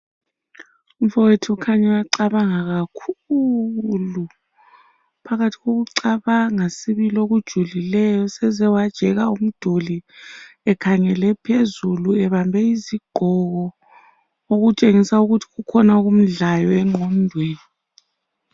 Umfowethu khanya uyacabanga kakhulu. Uphakathi kokucabanga sibili okujulileyo seze wajeka umduli wakhangela phansi ebambe izigqoko okutshengisa ukuthi kukhona okumudlayo enqondweni.